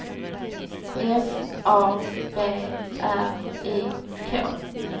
F A B R I K